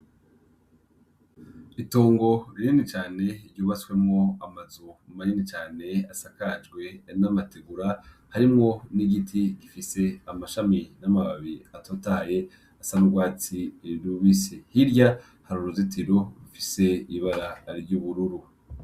Itongo rinini cane ryubatswemwo amazu manini cane, asakajwe n'amategura; harimwo n'igiti gifise amashami n'amababi atotahaye, asa n'urwatsi rubisi. Hirya hari uruzitiro rufise ibara ry'ubururu.